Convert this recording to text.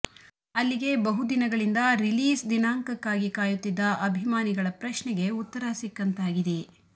ಅಲ್ಲಿಗೆ ಬಹುದಿನಗಳಿಂದ ರಿಲೀಸ್ ದಿನಾಂಕಕ್ಕಾಗಿ ಕಾಯುತ್ತಿದ್ದ ಅಭಿಮಾನಿಗಳ ಪ್ರಶ್ನೆಗೆ ಉತ್ತರ ಸಿಕ್ಕಂತಾಗಿದೆ